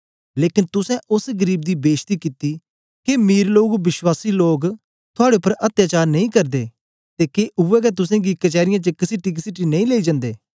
लेकन तुसें ओस गरीब दी बेशती कित्ती के मीर विश्वासी लोग थुआड़े उपर अत्याचार नेई करदे ते के उवै गै तुसेंगी कचैरीयें च कसीटीकसीटी नेई लेई जन्दे